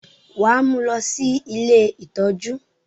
wà á mú lọ sí “ ilé ìtọ́jú”.!